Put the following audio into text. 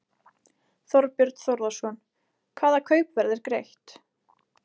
Þorbjörn Þórðarson: Hvaða kaupverð er greitt?